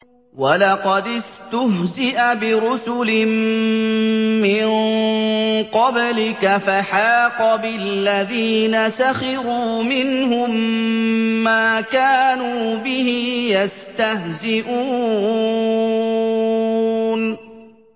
وَلَقَدِ اسْتُهْزِئَ بِرُسُلٍ مِّن قَبْلِكَ فَحَاقَ بِالَّذِينَ سَخِرُوا مِنْهُم مَّا كَانُوا بِهِ يَسْتَهْزِئُونَ